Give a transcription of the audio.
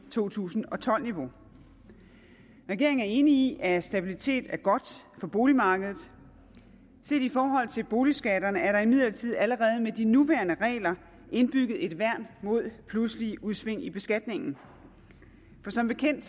to tusind og tolv niveau regeringen er enig i at stabilitet er godt på boligmarkedet set i forhold til boligskatterne er der imidlertid allerede med de nuværende regler indbygget et værn mod pludselige udsving i beskatningen for som bekendt